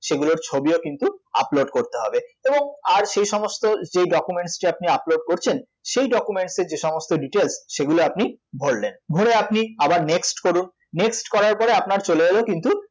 সেগুলোর ছবিও কিন্তু upload করতে হবে এবং আর সেই সমস্ত যে documents আপনি upload করছেন সেই documents এর যে সমস্ত details সেগুলো আপনি ভরলেন, ভরে আপনি আবার next করুন next কয়রার পরে আপনার চলে এল কিন্তু